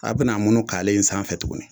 A bina a munun k'ale in sanfɛ tuguni